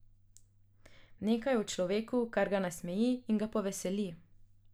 Nekaj je v človeku, kar ga nasmeji in ga poveseli.